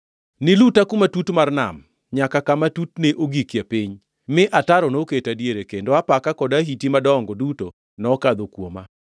Niluta kuma tut mar nam, nyaka kama tutne ogikie piny, mi ataro noketa diere; kendo apaka kod ahiti madongo duto nokadho kuoma.